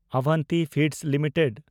Avanti Feeds limited